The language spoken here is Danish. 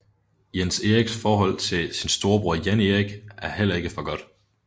Jens Eriks forhold til sin storebror Jan Erik er heller ikke for godt